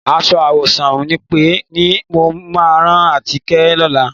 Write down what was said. Aṣọ àwọ̀sùn mọ́ńpé ni mo máa rán Atinúkẹ́ lọ́la.